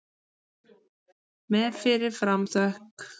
Með fyrir fram þökk.